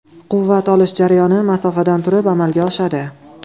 Quvvat olish jarayoni masofadan turib amalga oshadi.